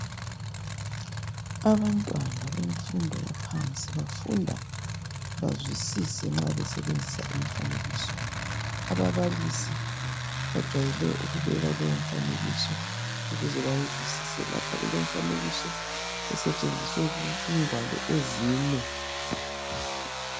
Abantwana bemfundo yaphansi bafunda bazwisise nxa besebenzisa imifanekiso. Ababalisi bajwayele ukubeka leyo mifanekiso ukuze bayizwisise. Lapha kulemifanekiso esetshenziswe kungwalo ezine